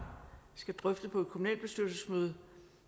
skal drøfte danmarkskortet på et kommunalbestyrelsesmøde